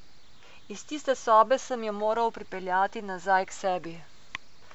Iz tiste sobe sem jo moral pripeljati nazaj k sebi.